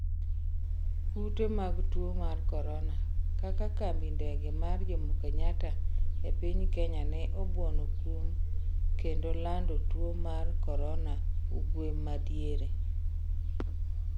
kute mag tuo mar korona: kaka kambi ndeke mar jomokenyatta e piny Kenya ne obuono kum kendo lando tuo mar korona ugew ma diere